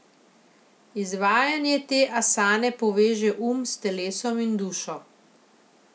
Izvajanje te asane poveže um s telesom in dušo.